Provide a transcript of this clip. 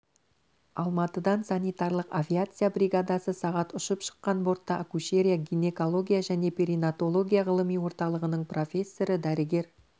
алматыдан санитарлық авиация бригадасы сағат ұшып шыққан бортта акушерия гинекология және перинаталогия ғылыми орталығының профессоры дәрігер